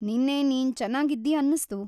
ನಿನ್ನೆ ನೀನ್‌ ಚೆನ್ನಾಗಿದ್ದೀ ಅನ್ನಿಸ್ತು.